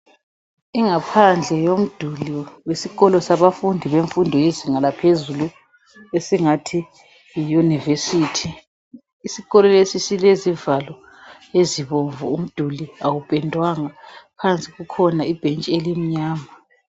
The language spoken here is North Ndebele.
Ingaphandle yomduli wesikolo sabafundi bemfundo yezinga laphezulu esingathi yiyunivesiti. Isikolo lesi silezivalo ezibomvu umduli awuphendwanga. Phansi kukhona ibhenji elimnyama.